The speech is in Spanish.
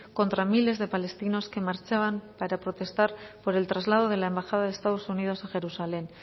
contra miles de palestinos que marchaban para protestar por el traslado de la embajada de estados unidos a jerusalén